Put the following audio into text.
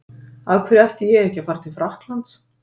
Af hverju ætti ég ekki að fara til Frakklands?